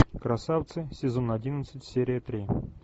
красавцы сезон одиннадцать серия три